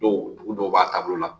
Dɔw dugu dɔw b'a taabolo la.